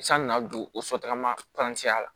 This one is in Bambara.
San na na don o sotarama kalanciya la